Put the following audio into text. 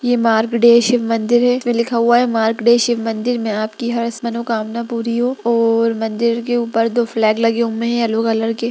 ये मार्कडे शिव मंदिर है इसमें लिखा हुआ है मार्कडे शिव मंदिर में आपकी हर मनोकामना पूरी हो और मंदिर के ऊपर दो फ्लैग लगे हुए है येलो कलर के--